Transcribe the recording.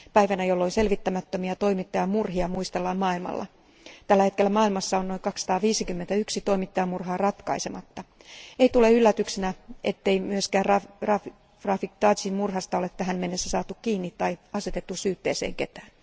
Päivänä, jolloin selvittämättömiä toimittajamurhia muistellaan maailmalla. Tällä hetkellä maailmassa on noin 251 toimittajamurhaa ratkaisematta. Ei tule yllätyksenä, ettei myöskään Rafig Tagin murhasta ole tähän mennessä saatu kiinni tai asetettu syytteeseen ketään.